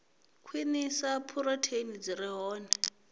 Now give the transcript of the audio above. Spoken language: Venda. khwinisa phurotheini dzi re hone